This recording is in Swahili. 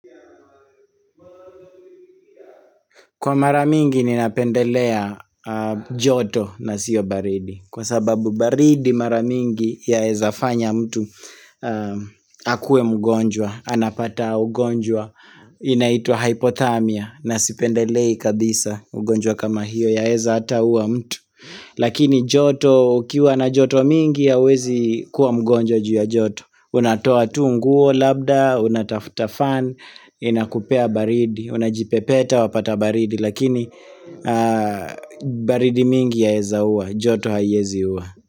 Kwa mara mingi ninapendelea joto na sio baridi. Kwa sababu baridi mara mingi yaeza fanya mtu akuwe mgonjwa. Anapata ugonjwa inaitwa hypothamia na sipendelei kabisa ugonjwa kama hiyo yaeza ata ua mtu. Lakini joto ukiwa na joto mingi hauwezi kuwa mgonjwa juu ya joto. Unatoa tu nguo labda, unatafuta fan, inakupea baridi. Unajipepeta wapata baridi lakini baridi mingi yaeza uwa joto haiezi uwa.